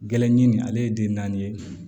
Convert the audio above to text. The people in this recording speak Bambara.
Gɛlɛn nin ale ye den naani ye